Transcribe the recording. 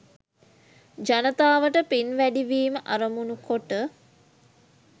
ජනතාවට පින් වැඩිවීම අරමුණු කොට